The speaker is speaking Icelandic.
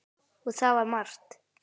Það var margt.